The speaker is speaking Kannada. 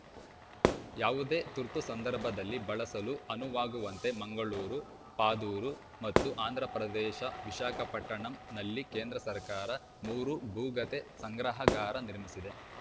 ಯಾವುದೇ ತುರ್ತು ಸಂದರ್ಭದಲ್ಲಿ ಬಳಸಲು ಅನುವಾಗುವಂತೆ ಮಂಗಳೂರು ಪಾದೂರು ಮತ್ತು ಆಂಧ್ರಪ್ರದೇಶ ವಿಶಾಖಪಟ್ಟಣಂನಲ್ಲಿ ಕೇಂದ್ರ ಸರ್ಕಾರ ಮೂರು ಭೂಗತೆ ಸಂಗ್ರಹಾಗಾರ ನಿರ್ಮಿಸಿದೆ